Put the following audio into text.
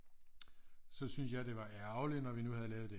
Så syntes jeg det var ærgerligt når nu vi havde lavet det